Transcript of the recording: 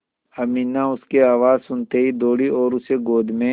अमीना उसकी आवाज़ सुनते ही दौड़ी और उसे गोद में